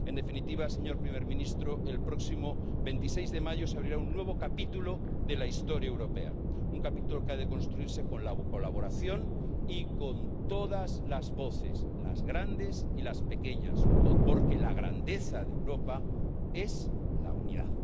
En definitiva, señor presidente del Gobierno, el próximo 26 de mayo se abrirá un nuevo capítulo de la historia europea, un capítulo que ha de construirse con la colaboración y con todas las voces, las grandes y las pequeñas, porque la grandeza de Europa es la unidad.